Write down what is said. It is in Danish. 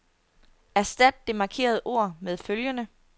Erstat det markerede ord med følgende.